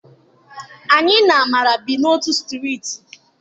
Anyị na Amara bi n'otu strịịtị.